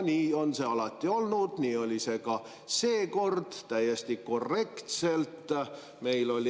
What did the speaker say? " Nii on see alati olnud, nii oli see ka seekord, täiesti korrektselt.